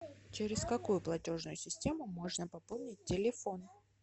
через какую платежную систему можно пополнить телефон